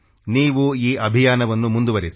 ನೀವು ಈ ಅಭಿಯಾನವನ್ನು ಮುಂದುವರೆಸಿ